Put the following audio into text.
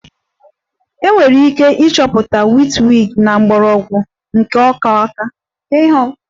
Enwere ike ịchọta witchweed na mgbọrọgwụ nke ọka ọka